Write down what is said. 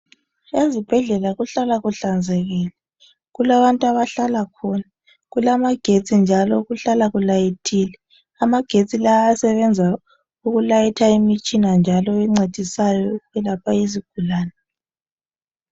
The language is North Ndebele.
Ezibhedlela kuhlala kuhlanzekile. Kulabant' abahlala khona. Kulamagetsi njalo kuhlala kulayithile. Amagetsi la ayasebenza ukulayitha imitshina njalo encedisayo ukwelapha izigulane.